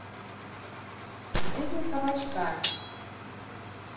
жизнь кабачка